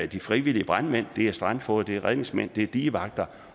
de frivillige brandmænd det er strandfogeder det er redningsmænd det er digevagter